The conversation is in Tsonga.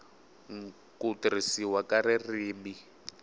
n ku tirhisiwa ka ririmi